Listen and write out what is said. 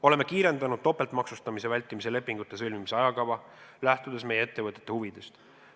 Oleme kiirendanud topeltmaksustamise vältimise lepingute sõlmimiste ajakava, lähtudes meie ettevõtete huvidest.